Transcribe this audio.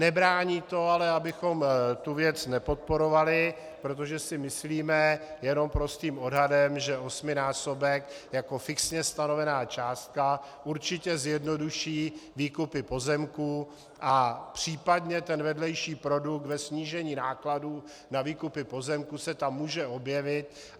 Nebrání to ale, abychom tu věc nepodporovali, protože si myslíme jenom prostým odhadem, že osminásobek jako fixně stanovená částka určitě zjednoduší výkupy pozemků a případně ten vedlejší produkt ve snížení nákladů na výkupy pozemků se tam může objevit.